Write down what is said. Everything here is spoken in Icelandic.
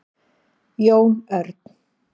Jón Örn,